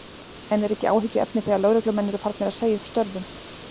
En er ekki áhyggjuefni þegar lögreglumenn eru farnir að segja upp störfum?